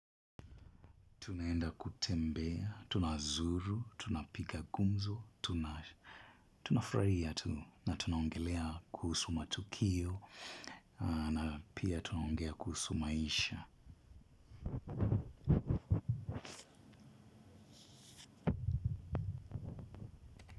Tunaenda kutembea, tunazuru, tunapiga gumzo, tunafurahia tu na tunaongelea kuhusu matukio na pia tunaongea kuhusu maisha.